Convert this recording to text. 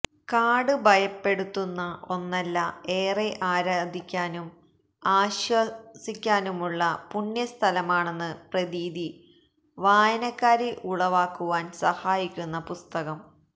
കാട് ഭയപ്പെടുത്തുന്ന ഒന്നല്ല ഏറെ ആരാധിക്കാനും ആശ്വസിക്കാനുമുള്ള പുണ്യസ്ഥലമാണെന്ന പ്രതീതി വായനക്കാരിൽ ഉളവാക്കുവാൻ സഹായിക്കുന്ന പുസ്തകം